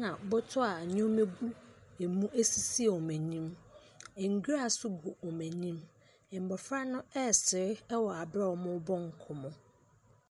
na bɔtɔ a nneɛma gu sisi wɔn anim, nwura nso gu wɔn anim. Mmɔfra no ɛresere wɔ aberɛ wɔrebɔ nkɔmmɔ.